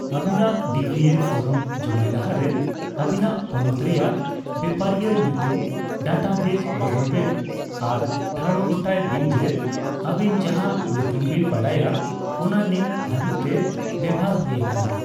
ᱟᱹᱵᱤᱱᱟᱜ ᱰᱤᱵᱤᱮ ᱝᱚᱨᱢ ᱡᱚᱢᱟᱭ ᱞᱟᱦᱟᱨᱮ, ᱟᱵᱤᱱᱟᱜ ᱯᱚᱱᱚᱛ ᱨᱮᱭᱟᱜ ᱵᱮᱯᱟᱨᱤᱭᱟᱜ ᱧᱩᱛᱩᱢ ᱰᱟᱴᱟᱵᱮᱡ ᱵᱤᱰᱟᱹᱣ ᱵᱮᱱ ᱟᱨ ᱴᱷᱟᱲᱜᱚᱴᱟᱭ ᱵᱤᱱ ᱡᱮ ᱟᱵᱤᱱ ᱡᱟᱸᱦᱟ ᱧᱩᱛᱩᱢᱵᱤᱱ ᱵᱟᱰᱟᱭᱟ ᱚᱱᱟ ᱱᱤᱛ ᱫᱷᱟᱹᱵᱤᱪ ᱛᱮ ᱵᱮᱵᱚᱦᱟᱨ ᱦᱩᱭᱟᱠᱟᱱᱟ ᱾